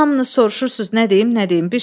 Elə hamınız soruşursunuz nə deyim, nə deyim.